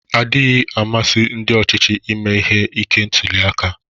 Ọdịghị amasị ndi ochịchị ime ihe ike ntuliaka.